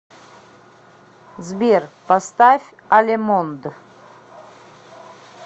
сбер поставь алемонд